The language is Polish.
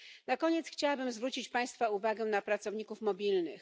Na koniec chciałabym zwrócić Państwa uwagę na pracowników mobilnych.